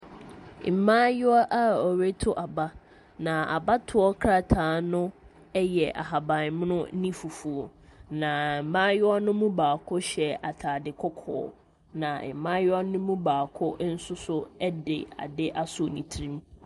Mmayewa a wɔreto aba, na abatoɔ krataa no yɛ ahaban mono ne fufuo, na mmayewa no mu baako hyɛ atade kɔkɔɔ, na mmayewa no mu baako nso so de adeɛ asɔ ne tiri mu.